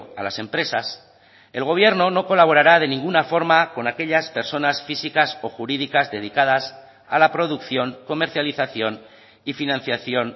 a las empresas el gobierno no colaborara de ninguna forma con aquellas personas físicas o jurídicas dedicadas a la producción comercialización y financiación